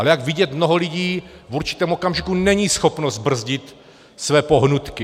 Ale jak vidět, mnoho lidí v určitém okamžiku není schopno zbrzdit své pohnutky.